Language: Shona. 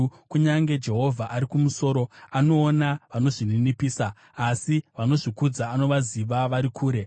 Kunyange Jehovha ari kumusoro, anoona vanozvininipisa, asi vanozvikudza anovaziva vari kure.